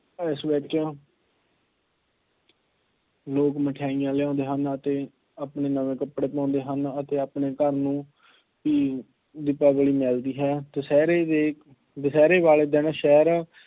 ਇਸ ਵਿੱਚ ਲੋਕ ਮਠਿਆਈਆਂ ਲਿਆਉਂਦੇ ਹਨ ਅਤੇ ਆਪਣੇ ਨਵੇਂ ਕੱਪੜੇ ਪਾਉਂਦੇ ਹਨ ਅਤੇ ਆਪਣੇ ਘਰ ਨੂੰ ਵੀ ਦੀਪਾਵਲੀ ਮਿਲਦੀ ਹੈ। ਦੁਸਹਿਰੇ ਦੇ, ਦੁਸਹਿਰੇ ਵਾਲੇ ਦਿਨ ਸ਼ਹਿਰ